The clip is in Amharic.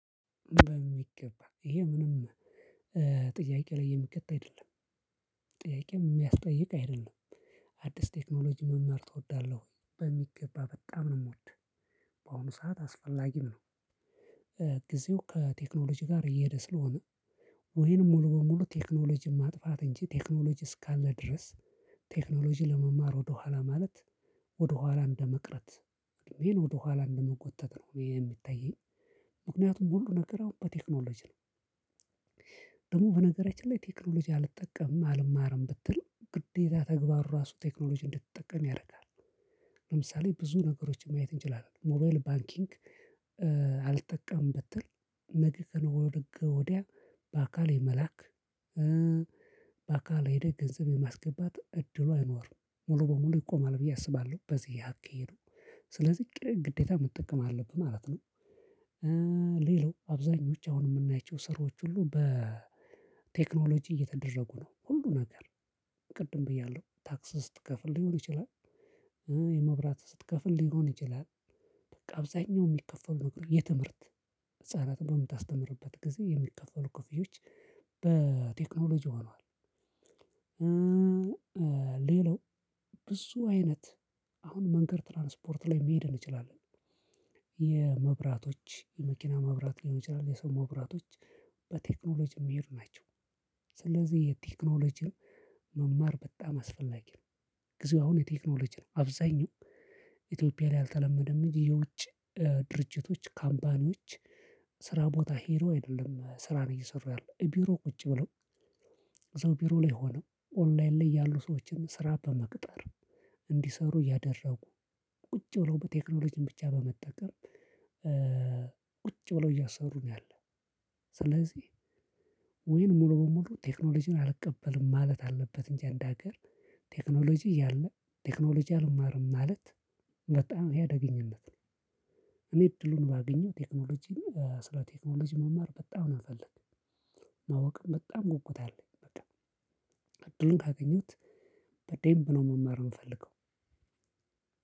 በሚገባ ይሄ ምንም ጥያቄ ላይ የሚቀጣ አይደለም ጥያቄ የሚያስጠይቅ አይደለም። አዲስ ቴክኖሎጂ መማር ትወዳለህ ወይ በሚገባ በጣም ነው የምወደው። በአሁኑ ሰዓት አስፈላጊም ነው። ጌዜው ከቴክኖሎጂ ጋር እየሄደ ስለሆነ ወይንም ሙሉ በሙሉ ቴክኖሎጂን ማጥፋት እንጂ ቴክኖሎጂ እስካለ ድረስ ቴክኖሎጂ ለመማር ወደኋላ ማለት ወደኋላ እንደመቅረት እኔን ወደኋላ እንደመጎተት ነው እኔ የሚታየኝ። ምክንያቱም ሁሉ ነገር አሁን በቴክኖሎጂ ነው። ደግሞ በነገራችን ላይ ቴክኖሎጂ አልጠቀምም አልማረም ብትል ግዴታ ተግባር ራሱ ቴክኖሎጂ እንድትጠቀም ያደርጋል። ለምሳሌ ብዙ ነገሮችን ማየት እንችላለን ሞባይል ባንኪንግ። አልጠቀምበትም ብትል ነገ ከነገ ወዲያ በአካል የመላክ በአካል ሄደህ ገንዘብ የማስገባት እድሉ አይኖርም። ሙሉ ለሙሉ ይቆማል ብዬ አስባለው በዚህ አካሄዱ። ስለዚህ ግዴታ መጠቀም አለብህ ማለት ነው። ሌላው አብዛኞቹ አሁን የምናይቸው ስራዎች ሁሉ በቴክኖሎጂ እየተደረጉ ነው ሁሉ ነገር። ቅድም ብያለሁ ታክስ ስትከፍል ሊሆን ይችላል። የመብራት ስትከፍል ሊሆን ይችላል። በቃ አብዛኛው የሚከፈሉ የትምህርት ህፃናት በምታስተምርበት ጊዜ የሚከፈሉ ክፍያዎች በቴክኖሎጂ ሆኗል። ሌላው ብዙ አይነት አሁን መንገድ ትራንስፖርት ላይ መሄድ እንችላለን። የመብራቶች የመኪና መብራት ሊሆን ይችላል የሰው መብራቶች በቴክኖሎጂ የሚሄድ ናቸው። ስለዚህ የቴክኖሎጂን መማር በጣም አስፈለጊ ነው። ጊዜው አሁን የቴክኖሎጂ ነው አብዛኛው። ኢትዮጵያ ላይ አልተለመደም እንጂ የውጭ ድርጅቶች ካምፓኒዎች ስራ ቦታ ሄዶ አይደለም ስራን እየሰሩ ያለው ቢሮ ቁጭ ብለው። እዛው ቢሮ ላይ ሆነው ኦንላይን ላይ ያሉ ሰዎችን ስራ በመቅጠር እንዲሰሩ እያደረጉ ቁጭ ብለው በቴክኖሎጂን ብቻ በመጠቀም። ቁጭ ብለው እያሰሩ ነው ያለው። ስለዚህ ወይም ሙሉ በሙሉ ቴክኖሎጂን አልቀበልም ማለት አለበት እንጂ አንድ ሀገር ቴክኖሎጂ እያለ ቴክኖሎጂ አልማርም ማለት በጣም ይሄ አደገኝነት ነው። እኔ እድሉን ባገኘው ቴክኖሎጂ ስለ ቴክኖሎጂ መማር በጣም ነው የምፈልገው። ማወቅም በጣም ጉጉት አለኝ በቃ። እድሉን ካገኙሁት በደንብ ነው መማር የምፈልገው።